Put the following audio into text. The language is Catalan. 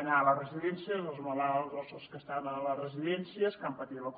anar a les residències als malalts als que estan a les residències que han patit la covid